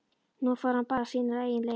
Nú fór hann bara sínar eigin leiðir.